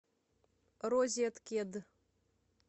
розеткед